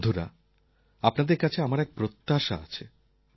বন্ধুরা আপনাদের কাছে আমার এক প্রত্যাশা আছে